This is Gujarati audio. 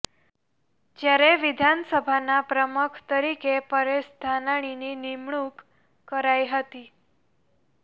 જ્યારે વિધાનસભાના પ્રમખ તરીકે પરેશ ધાનાણીની નિમણૂક કરાઇ હતી